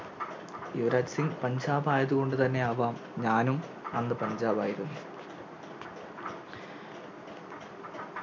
യുവരാജ് സിങ് പഞ്ചാബ് ആയത്കൊണ്ട് തന്നെയാവാം ഞാനും അന്ന് പഞ്ചാബ് ആയിരുന്നു